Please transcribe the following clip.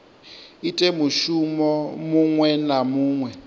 ite mushumo muṅwe na muṅwe